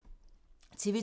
TV 2